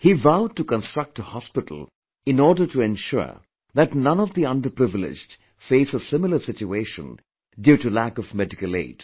He vowed to construct a hospital in order to ensure that none of the underprivileged face a similar situation due to lack of medical aid